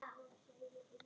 Þú meinar það ekki.